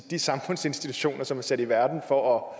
de samfundsinstitutioner som er sat i verden for